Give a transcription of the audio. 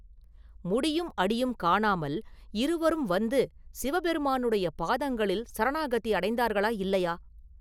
முடியும் அடியும் காணாமல் இருவரும் வந்து சிவபெருமானுடைய பாதங்களில் சரணாகதி அடைந்தார்களா, இல்லையா?